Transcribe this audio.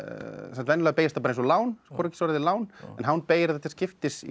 venjulega beygist það eins og lán lán en hán beygir það til skiptis í